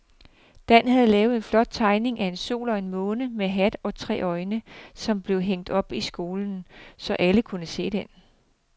Dan havde lavet en flot tegning af en sol og en måne med hat og tre øjne, som blev hængt op i skolen, så alle kunne se den.